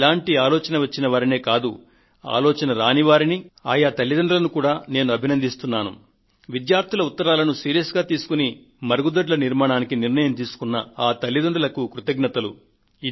ఇటువంటి ఆలోచన వచ్చిన వారినే కాదు ఆలోచన రాని వారినీ ఆయా తల్లితండ్రులను కూడా నేను అభినందిస్తున్నాను విద్యార్థుల ఉత్తరాలను గంభీరంగా పట్టించుకొని మరుగుదొడ్ల నిర్మాణ నిర్ణయాన్ని తీసుకొన్న ఆ తల్లితండ్రులకు కృతజ్ఞతలు